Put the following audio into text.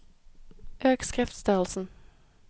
Øk skriftstørrelsen